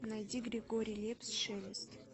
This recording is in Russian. найди григорий лепс шелест